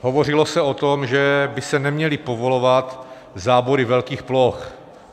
Hovořilo se o tom, že by se neměly povolovat zábory velkých ploch.